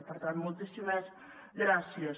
per tant moltíssimes gràcies